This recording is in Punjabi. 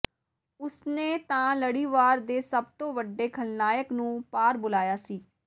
ਉਸੇ ਨੇ ਤਾਂ ਲੜੀਵਾਰ ਦੇ ਸਭ ਤੋਂ ਵੱਡੇ ਖ਼ਲਨਾਇਕ ਨੂੰ ਪਾਰ ਬੁਲਾਇਆ ਸੀ